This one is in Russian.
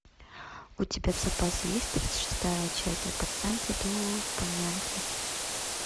у тебя в запасе есть тридцать шестая часть от пацанки до панянки